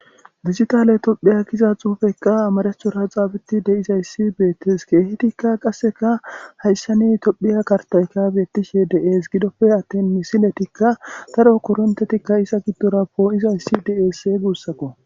Dijitale tophiya giza xuufekka amarehora xaabeti de'izayssi beettes keehtikka qasseka hayssani tophiya kartaykabyettishe deees gidoppe attin misiletikka daro korontetikka isa giddora poo'izayssi diesse guussakko